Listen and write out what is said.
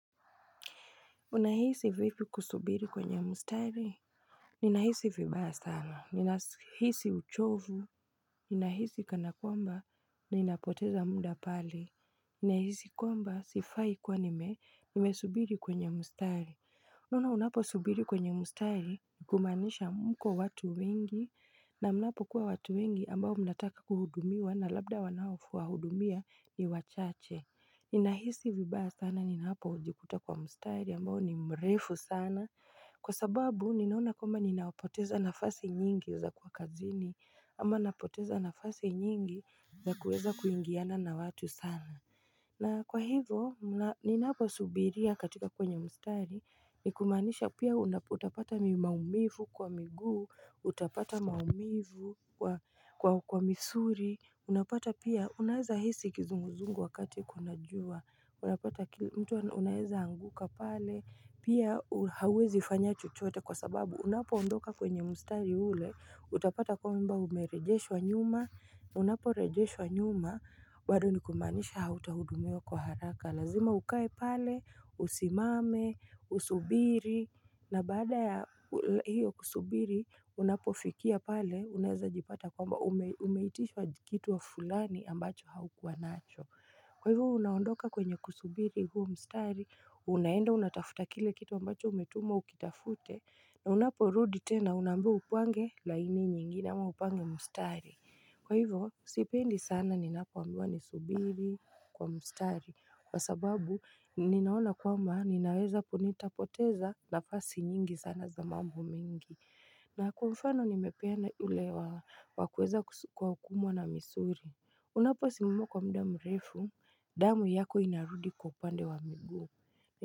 Unahisi vipi kusubiri kwenye mustari? Ninahisi vibaya sana. Ninahisi uchovu. Ninahisi kana kwamba ninapoteza muda pale. Nahisi kwamba sifai kwa nime. Nimesubiri kwenye mustari. Unaona unapo subiri kwenye mustari kumaanisha mko watu wengi na mnapokuwa watu wengi ambao mnataka kuhudumiwa na labda wanaofu wahudumia ni wachache. Ninahisi vibaya sana ninapojikuta kwa mstari ambao ni mrefu sana Kwa sababu ninaona kwamba ninaopoteza nafasi nyingi za kuwa kazini ama napoteza nafasi nyingi za kueza kuingiana na watu sana na kwa hivyo ninapo subiria katika kwenye mstari ni kumaanisha pia utapata ni maumivu kwa miguu Utapata maumivu kwa misuli Unapata pia, unaeza hisi kizunguzungu wakati kuna jua, unapata mtu unaeza anguka pale, pia hauwezi fanya chochote kwa sababu unapo ondoka kwenye mustari ule, utapata kwamba umerejeshwa nyuma, unaporejeshwa nyuma, bado ni kumaanisha hautahudumiwa kwa haraka. Na kazima ukae pale, usimame, usubiri, na bada ya hiyo kusubiri, unapofikia pale, uneza jipata kwamba umeitishwa kitu wa fulani ambacho haukuwa nacho. Kwa hivyo, unaondoka kwenye kusubiri huo mstari, unaenda unatafuta kile kitu ambacho umetumwa ukitafute, na unapo rudi tena unaambiwa upange laini nyingine ama upange mstari. Kwa hivyo, sipendi sana ninapo ambiwa ni subiri kwa mstari. Kwa sababu, ninaona kwamba, ninaweza nitapoteza nafasi nyingi sana za mambo mengi. Na kwa mfano, nimepeana ile wakueza kwa kuumwa na misuli. Unaposimama kwa muda mrefu, damu yako inarudi kwa upande wa miguu.